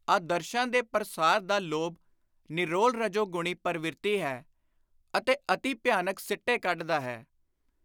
ਆਦਰਸ਼ਾਂ ਦੇ ਪਰਸਾਰ ਦਾ ਲੋਭ ਨਿਰੋਲ ਰਜੋਗਣੀ ਪਰਵਿਰਤੀ ਹੈ ਅਤੇ ਅਤੀ ਭਿਆਨਕ ਸਿੱਟੇ ਕੱਢਦਾ ਹੈ।